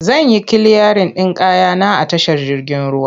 Zan yi kiliyarin ɗin kaya na a tashar jirgin ruwa.